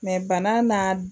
Mɛ bana n'a